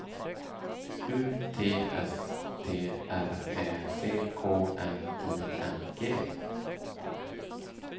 U T S T R Ä C K N I N G